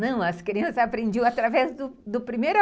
Não, as crianças aprendiam através do primeiro